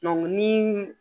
ni